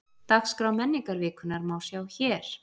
Dagskrá menningarvikunnar má sjá hér